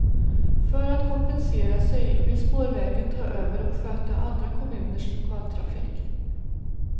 För att kompensera sig vill spårvägen ta över och sköta andra kommuners lokaltrafik.